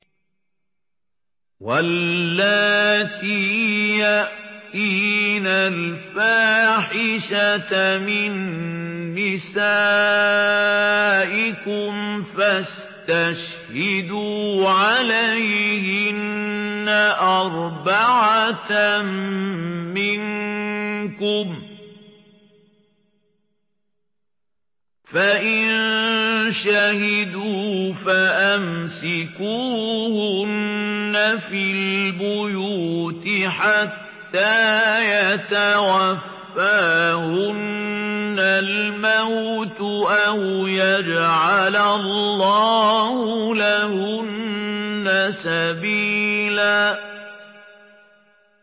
وَاللَّاتِي يَأْتِينَ الْفَاحِشَةَ مِن نِّسَائِكُمْ فَاسْتَشْهِدُوا عَلَيْهِنَّ أَرْبَعَةً مِّنكُمْ ۖ فَإِن شَهِدُوا فَأَمْسِكُوهُنَّ فِي الْبُيُوتِ حَتَّىٰ يَتَوَفَّاهُنَّ الْمَوْتُ أَوْ يَجْعَلَ اللَّهُ لَهُنَّ سَبِيلًا